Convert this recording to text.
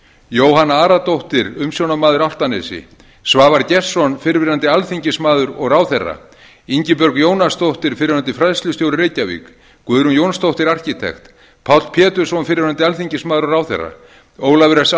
jóhanna aradóttir umsjónarmaður álftanesi svavar gestsson fyrrverandi alþingismaður og ráðherra ingibjörg jónasdóttir fyrrverandi fræðslustjóri reykjavík guðrún jónsdóttir arkitekt páll pétursson fyrrverandi alþingismaður og ráðherra ólafur s